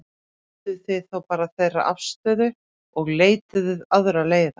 Skilduð þið þá bara þeirra afstöðu og leituðuð aðra leiða?